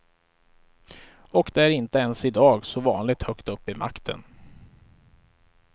Och det är inte ens i dag så vanligt högt upp i makten.